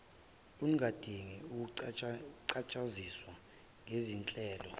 ungadinga ukuchushiswa ngezinhlelo